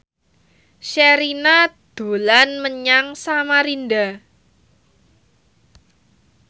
Sherina dolan menyang Samarinda